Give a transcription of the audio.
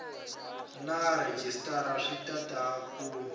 na rhejisitara swi tala ku